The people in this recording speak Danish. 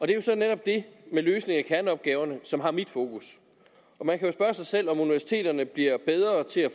det er så netop det med løsning af kerneopgaverne som har mit fokus og man kan spørge sig selv om universiteterne bliver bedre til at